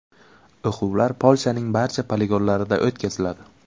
O‘quvlar Polshaning barcha poligonlarida o‘tkaziladi.